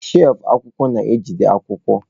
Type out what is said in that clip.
shelfụ akwụkwọ na-ejide akwụkwọ.